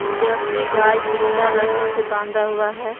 Jersey गाय पिला रस्सी से बांधा हुआ है।